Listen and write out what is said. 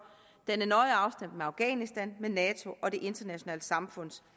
den er nøje afstemt med afghanistan med nato og det internationale samfunds